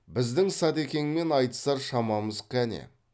біздің садакеңмен айтысар шамамыз кәне